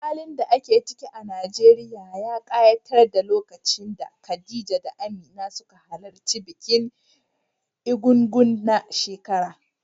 Halin da ake ciki a Najeriya ya ƙayatar a lokacin da Khadija da Amina suka halarci bikin Ègúngún na shekara.